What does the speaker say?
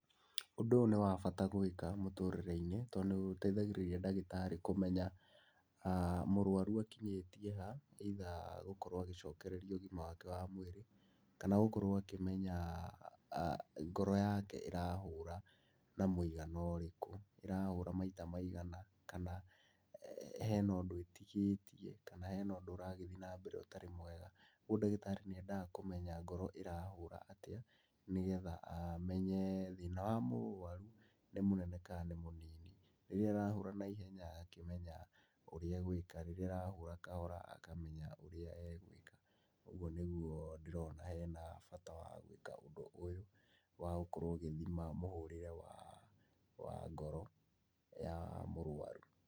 Ũndũ ũyũ nĩ wa bata gwĩka mũtũrĩre-inĩ tondũ nĩ ũteithagĩrĩria ndagĩtarĩ kũmenya mũrwaru akinyĩtie either gũkorwo agĩcokereria ũgima wake wa mwĩrĩ, kana gũkorwo akĩmenya ngoro yake ĩrahũra na mũigano ũrĩkũ, ĩrahũra maita maigana. kana hena ũndũ ĩtigĩtie kana hena ũndũ ũragĩthiĩ nambere ütarĩ mwega. Rĩu ndagĩtarĩ nĩendaga kũmenya ngoro ĩrahũra atĩa nĩgetha amenye thĩna wa mũrwaru nĩ mũnene kana nĩ mũnini. Rĩrĩa ĩrahũra naihenya agakĩmenya ũrĩa egũĩka, rĩrĩa ĩrahũra kahora akamenya ũrĩa egũĩka. Ũguo nĩguo ndĩrona hena bata wa gwĩka ũndũ ũyũ wa gũkorwo ũgĩthima mũhũrĩre wa ngoro ya mũrwaru.